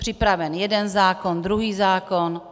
Připraven jeden zákon, druhý zákon.